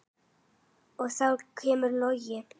Og þá kemur Logi.